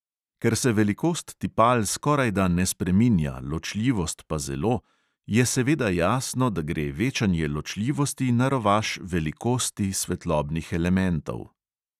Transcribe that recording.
Ker se velikost tipal skorajda ne spreminja, ločljivost pa zelo, je seveda jasno, da gre večanje ločljivosti na rovaš velikosti svetlobnih elementov.